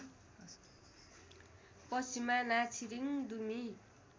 पश्चिममा नाच्छिरिङ् दुमी